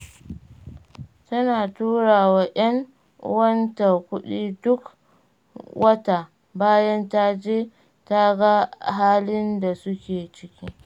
Tana tura wa 'yan uwanta kuɗi duk wata, bayan ta je, ta ga halin da suke ciki.